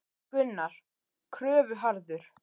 Gunnar: Kröfuharður?